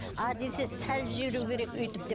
а десе салып жіберу керек деп